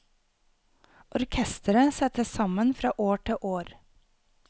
Orkestret settes sammen fra år til år.